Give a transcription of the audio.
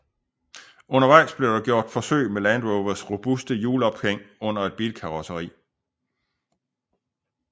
Undervejs blev der gjort forsøg med Land Rovers robuste hjulophæng under et bilkarosseri